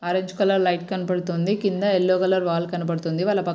orange colour light కనబడుతుంది కింద yellow colour wall కనబడుతుంది వాళ్ళ పక్కన ఒక--